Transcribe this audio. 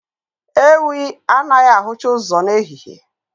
Ewii anaghị ahụcha ụzọ n'ehihie